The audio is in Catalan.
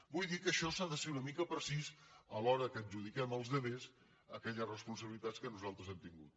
vull dir que en això s’ha de ser una mica precís a l’hora que adjudiquem als altres aquelles responsabilitats que nosaltres hem tingut